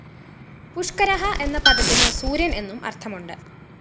പുഷ്‌കരഃ എന്ന പദത്തിന് സൂര്യന്‍ എന്നും അര്‍ത്ഥമുണ്ട്